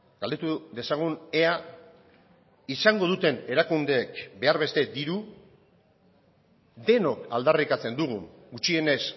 galdetu dezagun ea izango duten erakundeek behar beste diru denok aldarrikatzen dugu gutxienez